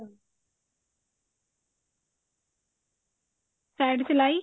side ਸਲਾਈ